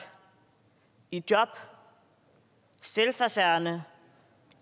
i job selvforsørgende